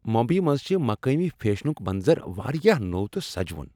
ممبیی منٛز چھ مقٲمی فیشنک منظر واریاہ نوو تہٕ سجوُن۔